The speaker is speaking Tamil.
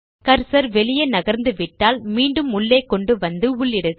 கர்சர் வெளியே நகர்ந்து விட்டால் மீண்டும் உள்ளே கொண்டு வந்து உள்ளிடுக